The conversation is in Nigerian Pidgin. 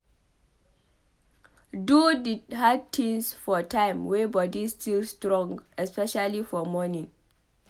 Do di hard things for time wey body still strong especially for morning